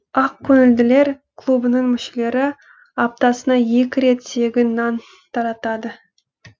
ақкөңілділер клубының мүшелері аптасына екі рет тегін нан таратады